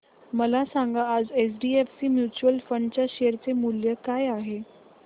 मला सांगा आज एचडीएफसी म्यूचुअल फंड च्या शेअर चे मूल्य काय आहे